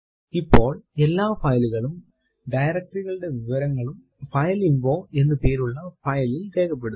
ഇപ്പോൾ എല്ലാ file കളും directory കളുടെ വിവരങ്ങളും ഫൈലിൻഫോ എന്ന് പേരുള്ള file ൽ രേഖപ്പെടുത്തും